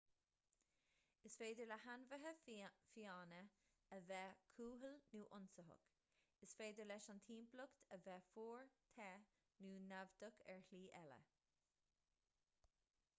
is féidir le hainmhithe fiáine a bheith cúthail nó ionsaitheach is féidir leis an timpeallacht a bheith fuar te nó naimhdeach ar shlí eile